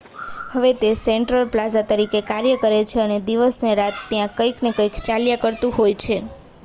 હવે તે central plaza તરીકે કાર્ય કરે છે અને દિવસ ને રાત ત્યાં કંઈક ને કંઈક ચાલ્યા કરતું હોય છે